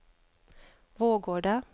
Vårgårda